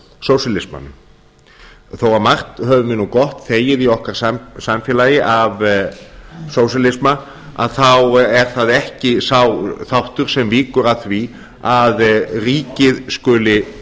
aðgang af sósíalismanum þó margt höfum við nú gott þegið í okkar samfélagi af sósíalisma þá er það ekki sá þáttur sem víkur að því að ríkið skuli